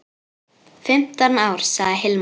Fimmtán ár, sagði Hilmar.